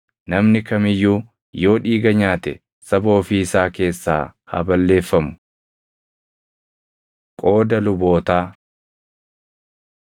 Namni kam iyyuu yoo dhiiga nyaate saba ofii isaa keessaa haa balleeffamu.’ ” Qooda Lubootaa